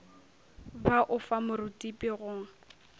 ba o fa morutipi go